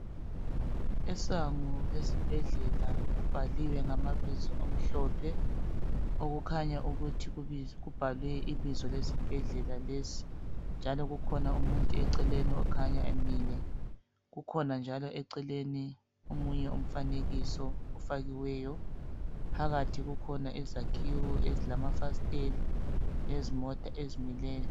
Isango lesibhadlela kubhaliwe ngamabizo amhlophe okukhanya ukuthi kubhalwe ibizo lesibhedlela lesi njalo kukhona umuntu eceleni okhanya emile kukhona njalo eceleni omunye umfanekiso ofakiweyo phakathi kukhona izakhiwo ezilamafasiteli lezimota ezimileyo